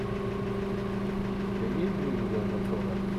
у тебя есть звериная натура